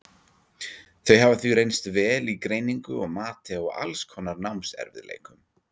Þau hafa því reynst vel í greiningu og mati á alls konar námserfiðleikum.